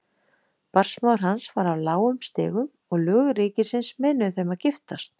Barnsmóðir hans var af lágum stigum og lög ríkisins meinuðu þeim að giftast.